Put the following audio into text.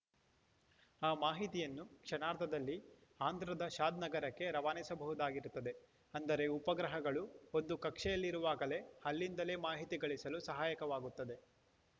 ಆ ಮಾಹಿತಿಯನ್ನು ಕ್ಷಣಾರ್ಧದಲ್ಲಿ ಆಂಧ್ರದ ಶಾದ್‌ನಗರಕ್ಕೆ ರವಾನಿಸಬಹುದಾಗಿರುತ್ತದೆ ಅಂದರೆ ಉಪಗ್ರಹಗಳು ಒಂದು ಕಕ್ಷೆಯಲ್ಲಿರುವಾಗಲೇ ಅಲ್ಲಿಂದಲೇ ಮಾಹಿತಿ ಗಳಿಸಲು ಸಹಾಯಕವಾಗುತ್ತದೆ